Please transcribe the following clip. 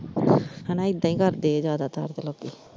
ਹੈਨਾ ਏਦਾਂ ਹੀ ਕਰਦੇ ਆ ਜਿਆਦਾ ਤਰ ਤੇ ਲੋਕੀ।